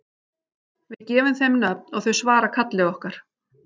Við gefum þeim nöfn og þau svara kalli okkar.